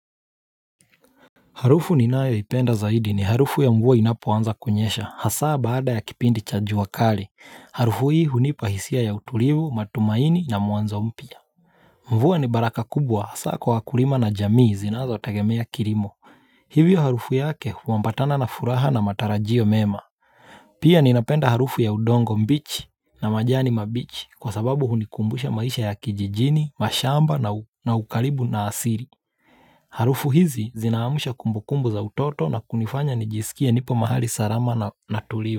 Harufu ninayoipenda zaidi ni harufu ya mvua inapoanza kunyesha, hasa baada ya kipindi cha jua kali. Harufu hii hunipa hisia ya utulivu, matumaini na mwanzo mpya. Mvua ni baraka kubwa, hasa kwa wakulima na jamii zinazotegemea kirimo. Hivyo harufu yake huambatana na furaha na matarajio mema. Pia ninapenda harufu ya udongo mbichi na majani mabichi kwa sababu hunikumbusha maisha ya kijijini, mashamba na ukaribu na asiri. Harufu hizi zinaamsha kumbukumbu za utoto na kunifanya nijisikie nipo mahali sarama na tulivu.